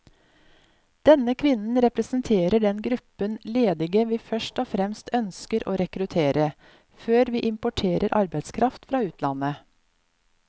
Denne kvinnen representerer den gruppen ledige vi først og fremst ønsker å rekruttere, før vi importerer arbeidskraft fra utlandet.